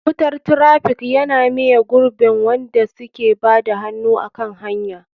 Wutar traffic yana miye gurbin wanda suke bada hannu a kan hanya.